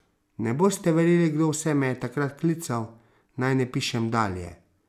Ne boste verjeli, kdo vse me je takrat klical, naj ne pišem dalje.